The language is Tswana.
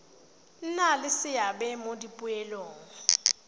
nna le seabe mo dipoelong